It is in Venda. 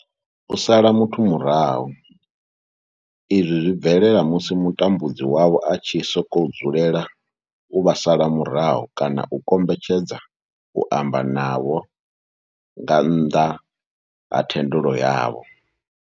U sala muthu murahu izwi zwi bvelela musi mutambudzi wavho a tshi sokou dzulela u vha sala murahu kana a kombetshedza u amba na vhone nga nnḓa ha thendelo yavho.